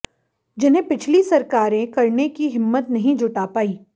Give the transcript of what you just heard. जिन्हें पिछली सरकारें करने की हिम्मत नहीं जुटा पाई